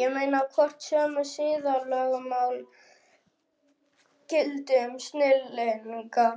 Ég meina, hvort sömu siðalögmál gildi um snillinga